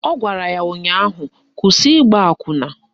Ọ gwara ya ụnyaahụ "Kwụsị ịgba akwụna"!